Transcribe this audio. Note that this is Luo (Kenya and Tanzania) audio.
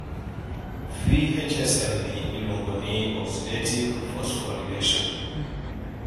vhsl ni iluongi ni oxidative phosphorylation